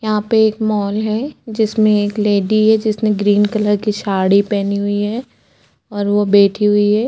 यहाँ पे एक मोल है जिसमें एक लेडी है जिसने ग्रीन कलर की साड़ी पेहनी हुई है और वो बैठी हुई है।